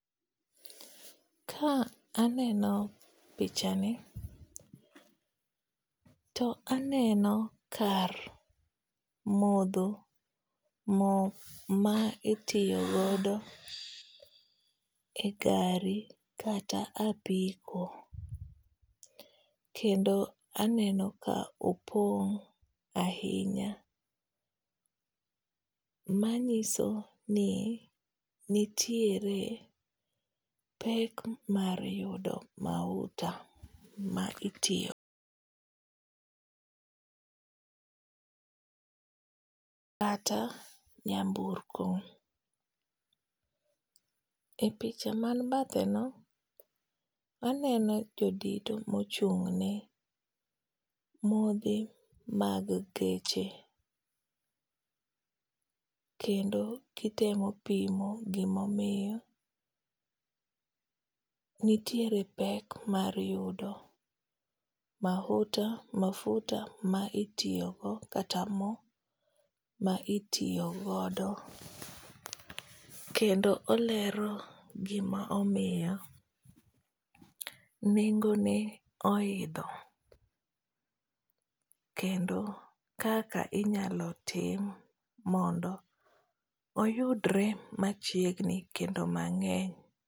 Ka aneno pichani, to aneno kar modho mo ma itiyo godo e gari kata apiko. Kendo aneno ka opong' ahinya, manyiso ni nitiere pek mar yudo mauta ma itiyo kata nyamburko. E picha man bathe no, aneno jodito ma ochung'ne modhi mag geche, kendo gitemo pimo gima omiyo nitiere pek mar yudo mauta, mafuta ma itiyogo kata mo ma itiyogodo. Kendo olero gima omiyo nengo ne oidho. Kendo kaka inyalo tim mondo oyudore machiegni kendo mangény.